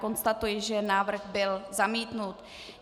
Konstatuji, že návrh byl zamítnut.